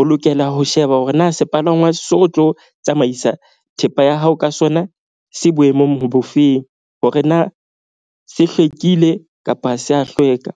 O lokela ho sheba hore na sepalangwa seo o tlo tsamaisa thepa ya hao ka sona se boemong bo feng hore na se hlwekile kapa ha se ya hlweka.